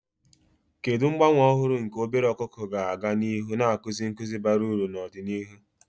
Kedu mgbanwe ọhụrụ nke obere ọkụkọ ga-aga n'ihu na-akụzi nkuzi bara uru n'ọdịnihu?